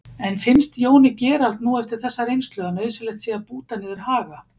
En finnst Jóni Gerald nú eftir þessa reynslu að nauðsynlegt sé að búta niður Haga?